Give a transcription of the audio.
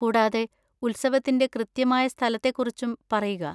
കൂടാതെ, ഉത്സവത്തിന്‍റെ കൃത്യമായ സ്ഥലത്തെക്കുറിച്ചും പറയുക.